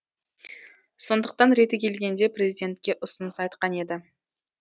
сондықтан реті келгенде президентке ұсыныс айтқан еді